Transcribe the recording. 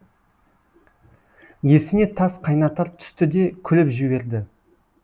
есіне тас қайнатар түсті де күліп жіберді